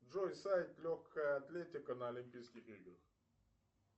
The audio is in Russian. джой сайт легкая атлетика на олимпийских играх